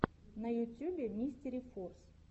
на ютюбе мистерифорс